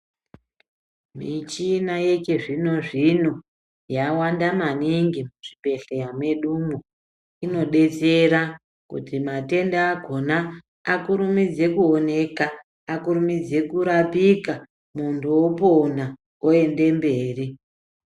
Michina yechizvino-zvino yawanda maningi muzvibhedhlera mwedu umwu. Inodetsera kuti matenda akhona akurumidze kuoneka, akurumidze kurapika, muntu opona oende mberi.